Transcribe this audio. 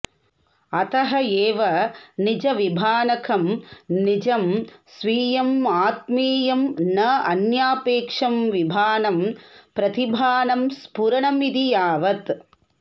अतः एव निजविभानकं निजं स्वीयं आत्मीयं न अन्यापेक्षं विभानं प्रतिभानं स्फुरणं इति यावत्